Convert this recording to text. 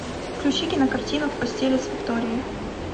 включи кинокартину в постели с викторией